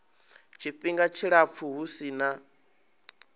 tshifhinga tshilapfu hu si na